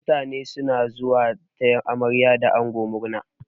Mutane suna zuwa taya amarya da ango murna.